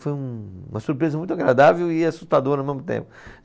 Foi um uma surpresa muito agradável e assustadora ao mesmo tempo.